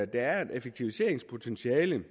der er et effektiviseringspotentiale